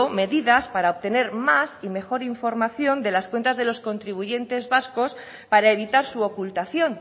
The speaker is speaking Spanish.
medidas para obtener más y mejor información de las cuentas de los contribuyentes vascos para evitar su ocultación